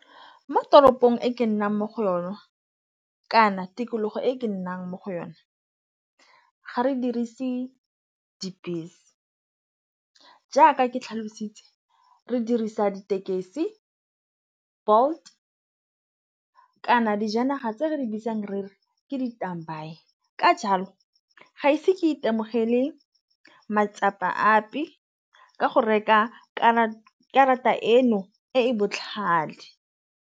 Mo toropong e ke nnang mo go yona kana tikologo e e ke nnang mo go yone ga re dirise dibese jaaka ke tlhalositse re dirisa ditekesi, Bolt kana dijanaga tse re di bitsang re re ke ditau baye ka jalo ga ise ke itemogele matsapa ap di ka go reka karata karata eno e e botlhale.????